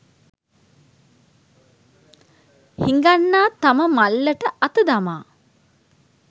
හිඟන්නා තම මල්ලට අත දමා